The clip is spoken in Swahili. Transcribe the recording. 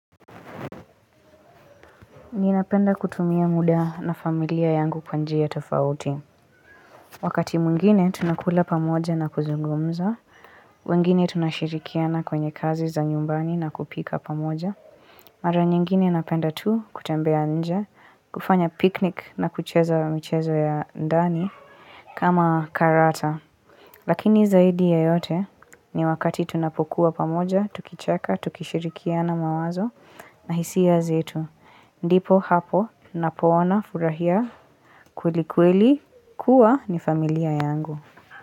Ninapenda kutumia muda na familia yangu kwa njia tofauti. Wakati mwingine tunakula pamoja na kuzungumza. Wengine tunashirikiana kwenye kazi za nyumbani na kupika pamoja. Mara nyingine napenda tu kutembea nje, kufanya piknik na kucheza michezo ya ndani kama karata. Lakini zaidi ya yote ni wakati tunapokuwa pamoja, tukicheka, tukishirikiana mawazo na hisia zetu. Ndipo hapo napoona furahia kweli kweli kuwa ni familia yangu.